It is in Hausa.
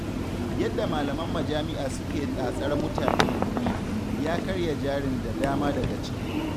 Yadda malaman majami'a suke tatsar mutane kuɗi, ya karya jarin da dama daga ciki